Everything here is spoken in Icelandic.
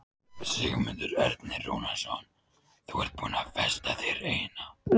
En hvað ætlar þú sjálf að kaupa þér? spurði amma.